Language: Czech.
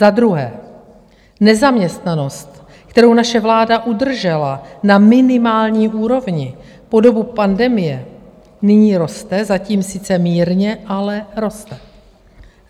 Za druhé nezaměstnanost, kterou naše vláda udržela na minimální úrovni po dobu pandemie, nyní roste, zatím sice mírně, ale roste.